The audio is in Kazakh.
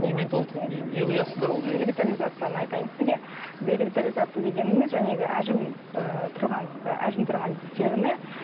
немен не не құясыздар ол жерге биоревитализацияны айтайын сізге биоревитализация дегенімз әжім ііі тұрған і әжім тұрған теріні